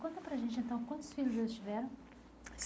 Conta para a gente, então, quantos filhos eles tiveram?